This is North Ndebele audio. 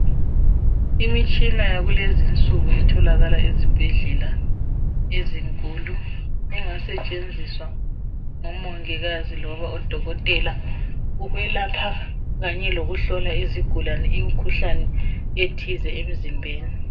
Imitshina yakulezinsuku etholakala ezibhedlela ezinkulu engasetshenziswa ngomongikazi loba odokotela ukwelapha kanye lokuhlola izigulani imkhuhlani ethize emzimbeni.